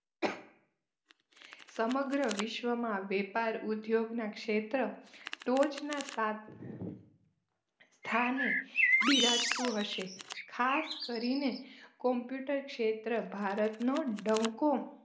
સમગ્ર વિશ્વમાં વેપાર ઉદ્યોગના ક્ષેત્ર ટોચના સાથ થાને બિરાજતું હશે ખાસ કરીને કોમ્પ્યુટર ક્ષેત્ર ભારતનો ડંકો